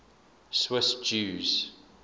swiss jews